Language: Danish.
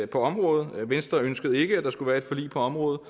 på området venstre ønskede ikke at der skulle være et forlig på området og